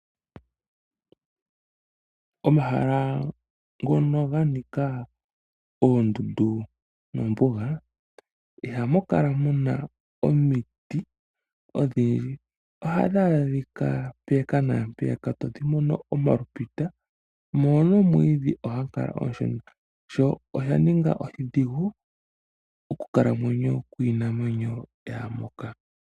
Omahala ngoka ga nika oondundu nombuga, ihamu kala mu na omiti odhindji. Ohadhi adhika owala mpake naa mpeyaka todhi mono owala omalupita, go nomwiidhi ohagu kala omusho, sho osha ninga oshidhigu okukalamwenyo kwiinamwenyo yaa moka.